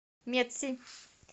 медси